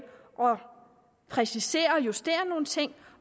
og præciserer og justerer nogle ting